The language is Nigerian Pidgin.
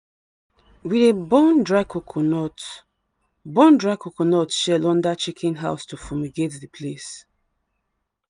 we dey burn dry coconut burn dry coconut shell under chicken house to fumigate the place.